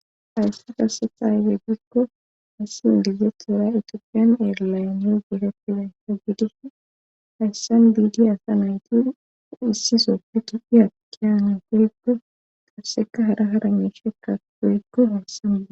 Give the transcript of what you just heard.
Hayssa kasetha hayfey giikko hayssi ingizetora itoopiyan eerlayn yu gehe pidaysa gidish hayssan diidi asa nayti issisoppi tiphi akkiyane geykko qasseka hara hara meeshe ka doykko hayssama.